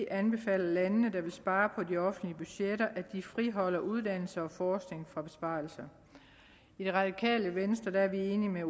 anbefaler lande der vil spare på de offentlige budgetter at de friholder uddannelse og forskning for besparelser i det radikale venstre er vi enige